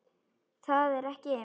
Það er ekki.